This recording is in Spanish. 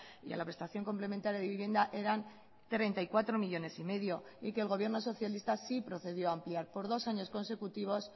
y a la prestación complementaria de vivienda eran treinta y cuatro millónes y medio y que el gobierno socialista sí procedió a ampliar por dos años consecutivos